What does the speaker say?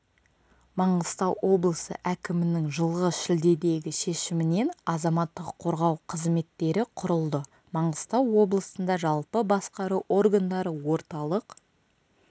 маңғыстау облысы әкімінің жылғы шілдедегі шешімімен азаматтық қорғау қызметтері құрылды маңғыстау облысында жалпы басқару органдары орталық